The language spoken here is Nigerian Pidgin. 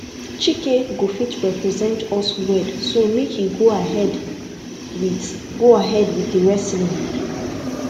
chike go fit represent us well so make he go ahead with go ahead with the wrestling